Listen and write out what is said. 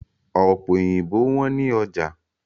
Ọ̀pẹ òyìnbó wọ́n ní ọjà